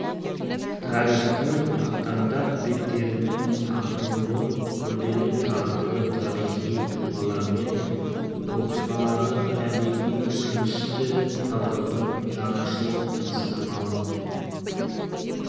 тарихтың ақтаңдақ беттерінің қамтылуы күрделі тағдырлы тарихи тұлғалар мен оқиғаларды әдеби үдерісті талдаудың жаңашыл әдіснамалық